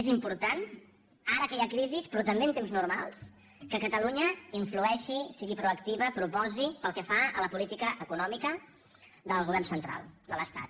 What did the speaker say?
és important ara que hi ha crisi però també en temps normals que catalunya influeixi sigui proactiva proposi pel que fa a la política econòmica del govern central de l’estat